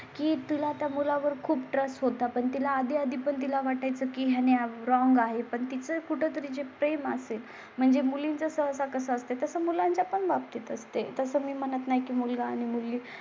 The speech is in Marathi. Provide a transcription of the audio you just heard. की तुला त्या मुला वर खूप रस होता पण तिला आधी आधी पण तिला वाटाय चं की यांनी रॉन्ग आहे. पण तिचं कुठे तरी जे प्रेम असेल म्हणजे मुलींच्या सह सकस असते तसं मुलांच्या पण बाबतीत असते असं मी म्हणत नाही की मुलगा आणि मुली पण